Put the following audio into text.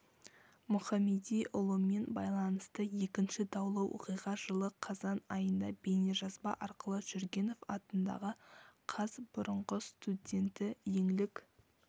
мұхамедиұлымен байланысты екінші даулы оқиға жылы қазан айында бейнежазба арқылы жүргенов атындағы қаз бұрынғы студенті еңлік